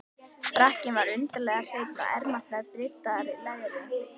Frakkinn var undarlega hreinn, og ermarnar bryddaðar leðri.